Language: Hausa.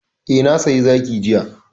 Eh, na saya zaki jiya.